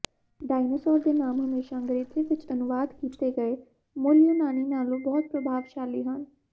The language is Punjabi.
ਡਾਇਨਾਸੌਰ ਦੇ ਨਾਮ ਹਮੇਸ਼ਾ ਅੰਗਰੇਜ਼ੀ ਵਿੱਚ ਅਨੁਵਾਦ ਕੀਤੇ ਗਏ ਮੂਲ ਯੂਨਾਨੀ ਨਾਲੋਂ ਬਹੁਤ ਪ੍ਰਭਾਵਸ਼ਾਲੀ ਹਨ